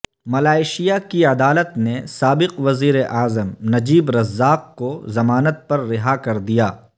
Malaysia کی عدالت نے سابق وزیراعظم نجیب رزاق کو ضمانت پر رہا کردیا